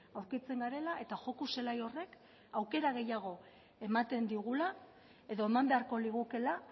aurkitzen garela eta joko zelai horrek aukera gehiago ematen digula edo eman beharko ligukeela